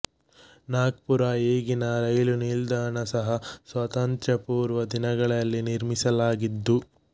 ನಾಗ್ಪುರ ಈಗಿನ ರೈಲು ನಿಲ್ದಾಣ ಸಹ ಸ್ವಾತಂತ್ರ್ಯಪೂರ್ವ ದಿನಗಳಲ್ಲಿ ನಿರ್ಮಿಸಲಾಗಿದ್ದು